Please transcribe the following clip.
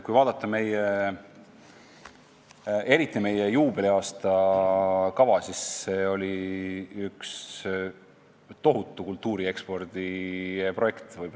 Kui vaadata meie juubeliaasta kava, siis see oli üks tohutu kultuuri ekspordi projekt.